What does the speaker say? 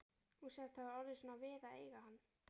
Hún sagðist hafa orðið svona við að eiga hann